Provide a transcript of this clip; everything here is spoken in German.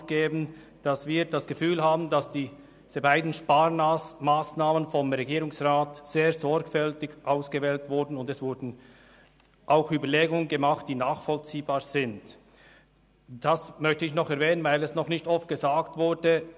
Wir haben den Eindruck, dass diese beiden Sparmassnahmen vom Regierungsrat sehr sorgfältig ausgewählt wurden, und es wurden auch nachvollziehbare Überlegungen angestellt.